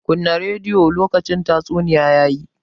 Kunna rediyon! lokacin tatsuniya ya yi.